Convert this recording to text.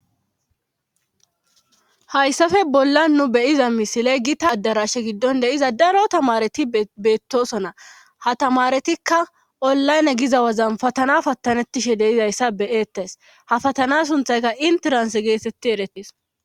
hayssafe bolla nu beyiza misiley giita addarashe giddon deiza daro tamareti beettosona ha tamaretikka ollayne giza wazan patana pattanettishe deizayssa beyeettays ha fatana sunthayka interans geesetti eretis